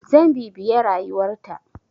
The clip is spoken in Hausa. Zan bibiye rayuwar ta.